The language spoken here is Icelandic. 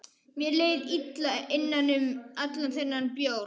Mér leið illa innan um allan þennan bjór.